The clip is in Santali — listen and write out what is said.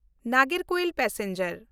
ᱱᱟᱜᱚᱨᱠᱳᱭᱤᱞ ᱯᱮᱥᱮᱧᱡᱟᱨ